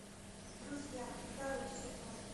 друзья второй сезон